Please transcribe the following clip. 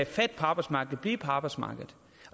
fat på arbejdsmarkedet og blive på arbejdsmarkedet